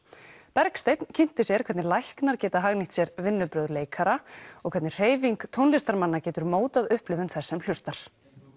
Bergsteinn kynnti sér hvernig læknar geta hagnýtt sér vinnubrögð leikara og hvernig hreyfing tónlistarmanna getur mótað upplifun þess sem hlustar